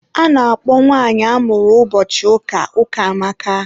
a na-akpọ nwanyi amụrụ ụbọchị ụka, Ukamaka.